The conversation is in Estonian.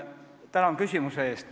Tänan küsimuse eest!